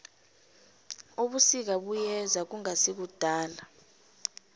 ubusika buyeza kungasikudala